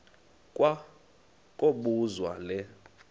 kwa kobuzwa le